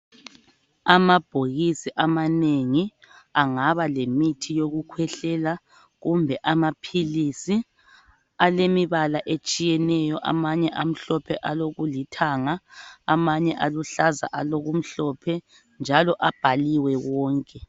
Amabhokisi amanengi angaba lemithi yokukhwehlela kumbe amaphilisi alemibala etshiyeneyo amanye amhlophe alokulithanga amanye aluhlaza alokumhlophe njalo abhaliwe wonke.